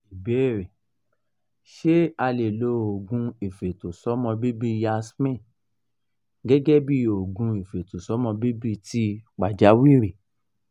ìbéèrè: ṣé a lè lo oogun ifetosomo bibi yasmin gẹ́gẹ́ bí oògùn ifetosomo bibi ti pajawiri?